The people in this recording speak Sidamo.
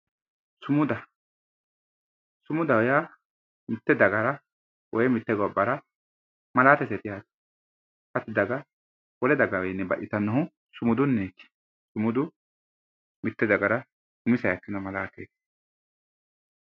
Sumuda, sumudaho yaa mite dagara woyi mite gobbara malaateseti, wole daga wole dagawi baxxittanohu sumudunniti ,sumudu mite dagara umiseha ikkeno